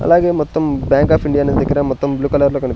అలాగే మొత్తం bank of India అనే దగ్గర మొత్తం బ్లూ కలర్ లో కనిపి --